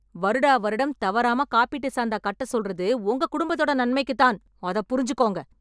வருடா வருடம் தவறாம காப்பீட்டு சந்தா கட்ட சொல்றது உங்க குடும்பத்தோட நன்மைக்குத் தான். அத புரிஞ்சுக்கோங்க.